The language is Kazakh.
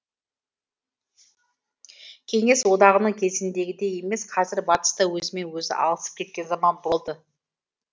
кеңес одағының кезіндегідей емес қазір батыс та өзімен өзі алысып кеткен заман болды